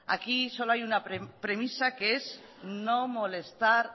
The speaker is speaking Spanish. aquí solo hay una premisa que es no molestar